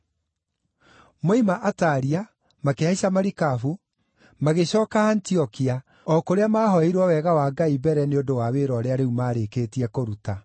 Moima Atalia makĩhaica marikabu, magĩcooka Antiokia, o kũrĩa maahoeirwo wega wa Ngai mbere nĩ ũndũ wa wĩra ũrĩa maarĩkĩtie kũruta.